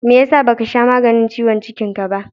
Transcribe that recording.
meyasa ba Ka sha maganin ciwon cikin Ka ba